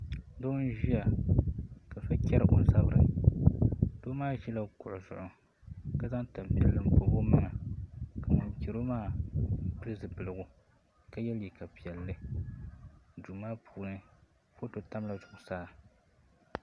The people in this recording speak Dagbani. Doo n ʒiya ka so chɛri o zabiri doo maa ʒɛla kuɣu zuɣu ka zaŋ tanpiɛlli n pobi o maŋa ka ŋun chɛro maa pili zipiligu ka yɛ liiga piɛlli duu maa puuni foto tabila zuɣusaa